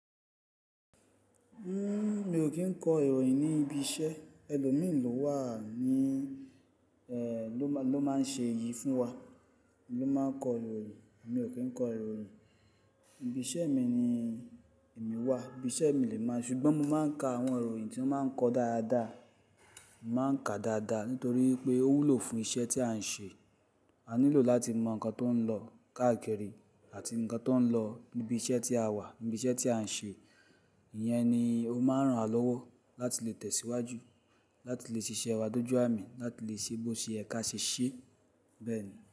Mi ò kí ń kọ ìròyìn ní ibi iṣẹ́. Ẹlòmíì lọ wà ní, ló máa ń ṣe èyí fún wa, ló máa ń kọ ìròyìn. Mi ò kí ń kọ ìròyìn. Ibi iṣẹ́ mi ni èmi wà, iṣẹ́ mi ni emi màá ṣe, ṣùgbọ́n mo máa ń ka àwọn ìròyìn tí wọ́n máa ń kọ dáadáa. Mo má ń ka dáadáa nítorí pé ó wúlò fún iṣẹ́ tí à ń ṣe. A nílò láti mọ nǹkan tó ń lọ káàkiri àti nǹkan tó ń lọ níbi iṣẹ́ tí a wà, níbi iṣẹ́ tí à ń ṣe. Ìyẹn ni ó máa ń ran lọ́wọ́ láti lè tẹ̀síwájú, láti lè ṣiṣẹ́ wa dójú àmì, láti lè ṣe bo se yẹ̀ kia ṣíṣe, bẹ́ẹ̀ ni.